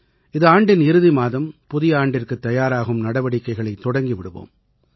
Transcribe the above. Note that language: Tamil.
இது ஆண்டின் இறுதி மாதம் புதிய ஆண்டிற்குத் தயாராகும் நடவடிக்கைகளைத் தொடங்கி விடுவோம்